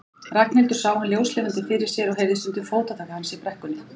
Ragnhildur sá hann ljóslifandi fyrir sér og heyrði stundum fótatak hans í brekkunni.